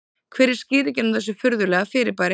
Hver er skýringin á þessu furðulega fyrirbæri?